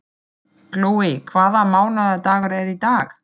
Glói, hvaða mánaðardagur er í dag?